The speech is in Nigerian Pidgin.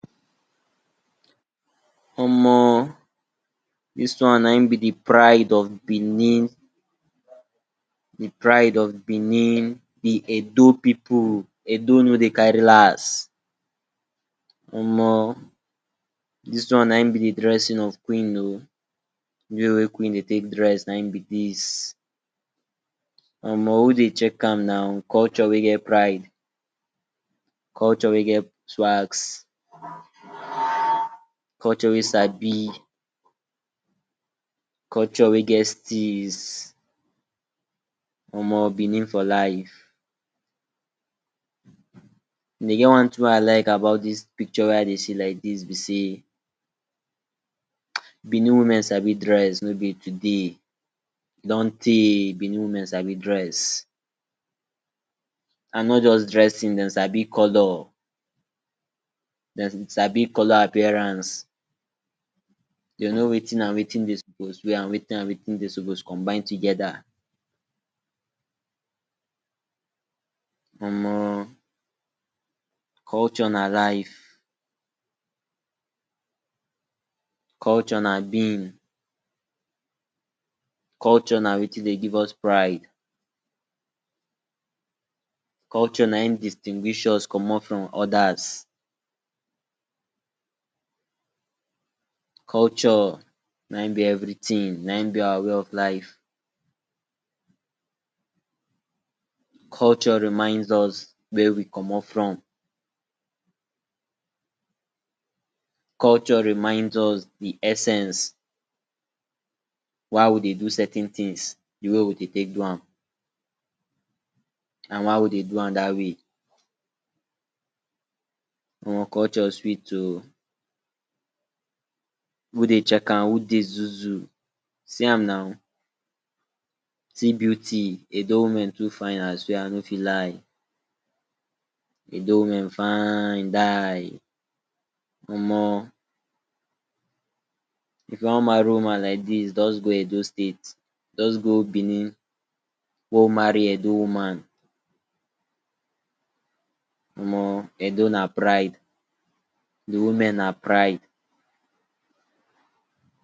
Omo! Dis one na in be the pride of Benin, the pride of Benin, the Edo pipu, Edo no dey kari las. Omo! Dis one na in be di dresin of queen o, di way wey queen dey take dress na in be dis. Omo! Who dey chek am now, culture wey get pride, culture wey get swags, culture wey sabi, culture wey get steeze. Omo! Benin for life, e get one tin wey I like about dis pikcho like this be sey, Benin women sabi dress no be today, e don tey Benin women sabi dress, and not just dressing dem sabi color, dem sabi color appearance, de know wetin and wetin de sopos wear and wetin and wetin de sopos combine togeda. Omo! culture na life, culture na beam, culture na wetin dey give us pride, culture na in distinguish us comot from odas, culture na in be everitin na in be our way of life, culture remind us where we commot from. culture remind us di essence, why we dey do certain tins, di way we dey take do am and why we dey do am da way. Omo, culture sweet o, who dey chek am? who dey zuu-zuu? See am now see beauty edo women too fine, I no fit lie. Edo wimen fine die omo, if you wan mari woman like dis just go edo state, just go Benin go mari edo woman. Omo! Edo na pride, di women na pride.